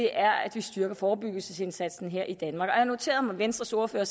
er at vi styrker forebyggelsesindsatsen her i danmark og jeg noterede mig at venstres ordfører